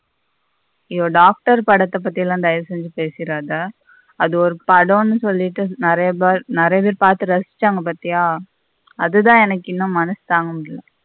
அயோ doctor படத்த பத்தில தயவுசெஞ்சு பேசிறத அது ஒரு படம்னு சொல்லிட்டு நீரைய பேர் பார்த்து ரசிச்சாங்க பாத்திய அதுத இன்னும் எனக்கு மனசு தாங்க முடியல.